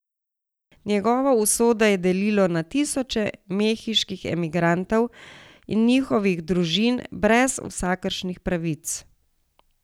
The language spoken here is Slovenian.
Njegovo usodo je delilo na tisoče mehiških emigrantov in njihovih družin brez vsakršnih pravic.